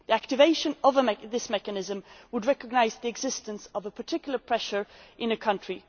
Activation of the mechanism would recognise the existence of particular pressure in a given country.